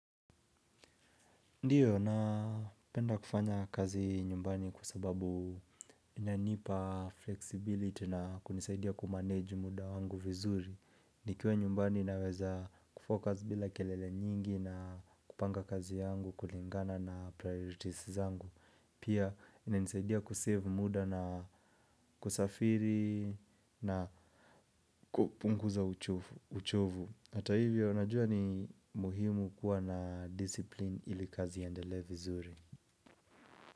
Ndiyo, napenda kufanya kazi nyumbani kwa sababu inanipa flexibility na kunisaidia kumanage muda wangu vizuri. Nikiwa nyumbani naweza kufocus bila kelele nyingi na kupanga kazi yangu kulingana na priorities zangu. Pia, ina nisaidia kusave muda na kusafiri na kupunguza uchovu. Hata hivyo unajua ni muhimu kuwa na discipline ili kazi iendelee vizuri.